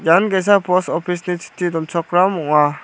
ian ge·sa pos opis ni chitti donchakram ong·a.